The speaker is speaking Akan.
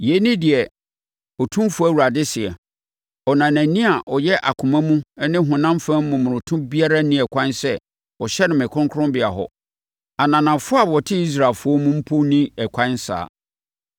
Yei ne deɛ Otumfoɔ Awurade seɛ: Ɔnanani a ɔyɛ akoma mu ne honam fam momonoto biara nni ɛkwan sɛ ɔhyɛne me kronkronbea hɔ. Ananafoɔ a wɔte Israelfoɔ mu mpo nni ɛkwan saa.